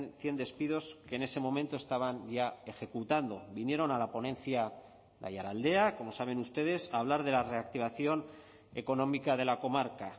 cien despidos que en ese momento estaban ya ejecutando vinieron a la ponencia de aiaraldea como saben ustedes a hablar de la reactivación económica de la comarca